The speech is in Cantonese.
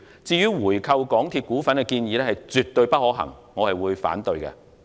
至於回購港鐵公司股份的建議絕不可行，我會表決反對。